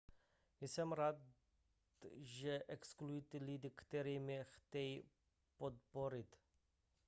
jsem ráda že existují lidé kteří mě chtějí podpořit